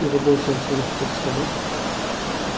и вы больше ничего не хотите сказать